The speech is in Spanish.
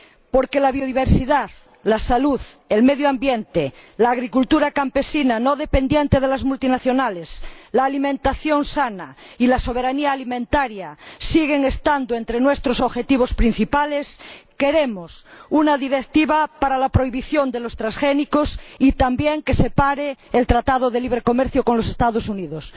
Porque la biodiversidad, la salud, el medio ambiente, la agricultura campesina no dependiente de las multinacionales, la alimentación sana y la soberanía alimentaria siguen estando entre nuestros objetivos principales, queremos una directiva para la prohibición de los transgénicos y también que se pare el Tratado de Libre Comercio con los Estados Unidos.